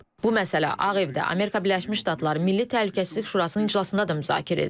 Bu məsələ Ağ Evdə Amerika Birləşmiş Ştatları Milli Təhlükəsizlik Şurasının iclasında da müzakirə edilib.